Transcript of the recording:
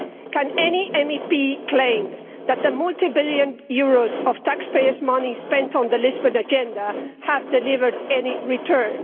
Can any MEP claim that the many billion euros of taxpayers' money spent on the Lisbon Agenda have delivered any return?